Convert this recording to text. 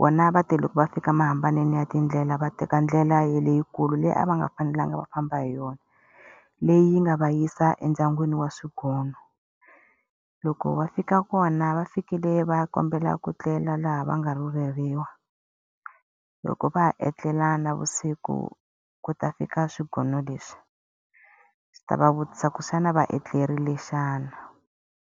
vona va te loko va fika mahambanelo ya tindlela va teka ndlela ya leyikulu leyi a va nga fanelanga va famba hi yona. Leyi nga va yisa endyangwini wa swigono. Loko va fika kona va fikile va kombela ku tlela laha va nga rhuleriwa. Loko va ha etlele navusiku, ku ta fika swigono leswi, swi ta va vutisa leswaku xana va etlerile xana?